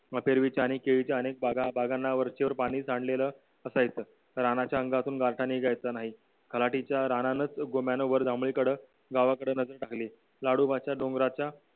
आणि केळीच्या अनेक बागा त्यांना वरचिवर बाणी सांडलेलं असं येतं रानाच्या अंगातून गारठा निघायचं नाही तलाठीच्या रानात गोम्यान वर दांगडी कड गावाकडं नजर टाकली लाडोबाच्या डोंगराच्या